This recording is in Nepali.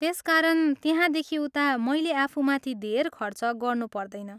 त्यसकारण, त्यहाँदेखि उता मैले आफूमाथि धेर खर्च गर्नु पर्दैन।